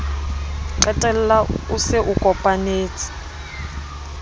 qetella o se o kopanetse